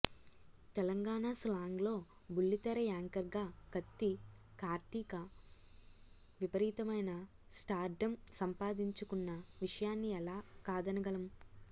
తెలంగాణ స్లాంగ్లో బుల్లితెర యాంకర్గా కత్తి కార్తీక విపరీతమైన స్టార్డమ్ సంపాదించుకున్న విషయాన్ని ఎలా కాదనగలం